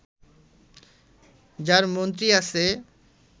যার মন্ত্রী আছে